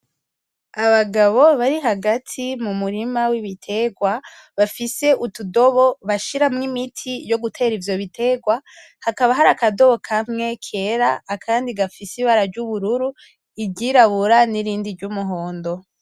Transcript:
Abagabo bari hagati mumurima wibitegwa bafise utudobo bashiramwo imiti yo gutera ivyo bitegwa hakaba hari akadobo kera akandi gafise ibara ryubururu iryirabura hamwe na rimwe ry'umuhondo